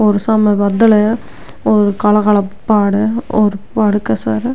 और साम बादल है और काला काला पहाड़ है और पहाड़ के सार --